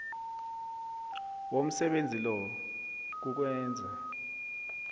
womsebenzi lo kukwenza